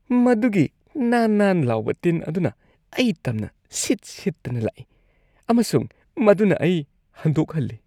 ꯃꯗꯨꯒꯤ ꯅꯥꯟ ꯅꯥꯟ ꯂꯥꯎꯕ ꯇꯤꯟ ꯑꯗꯨꯅ ꯑꯩ ꯇꯝꯅ ꯁꯤꯠ-ꯁꯤꯠꯇꯨꯅ ꯂꯥꯛꯏ ꯑꯃꯁꯨꯡ ꯃꯗꯨꯅ ꯑꯩ ꯍꯟꯗꯣꯛꯍꯜꯂꯤ꯫